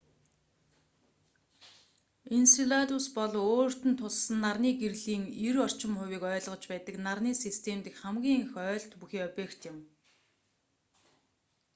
энселадус бол өөрт нь туссан нарны гэрлийн 90 орчим хувийг ойлгож байдаг нарны систем дэх хамгийн их ойлт бүхий объект юм